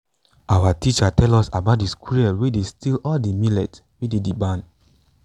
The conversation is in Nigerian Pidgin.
our teacher tell us about de squirrel wey steal all de millet wey dey de barn